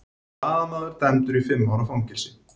Blaðamaður dæmdur í fimm ára fangelsi